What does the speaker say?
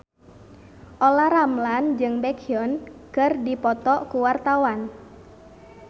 Olla Ramlan jeung Baekhyun keur dipoto ku wartawan